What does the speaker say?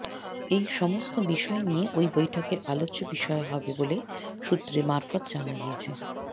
এই সমস্ত বিষয় নিয়ে ওই বৈঠকের আলোচ্য বিষয় হবে বলে সূত্র মারফত জানা গিয়েছে